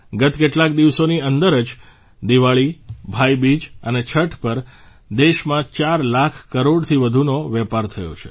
ગત કેટલાક દિવસોની અંદર જ દિવાળી ભાઇબીજ અને છઠ પર દેશમાં 4 લાખ કરોડથી વધુનો વેપાર થયો છે